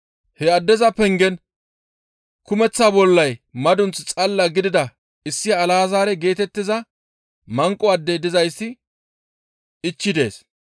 He addeza pengen kumeththa bollay madunth xalla gidida issi Alazaare geetettiza manqo adde dizayssi ichchi dees.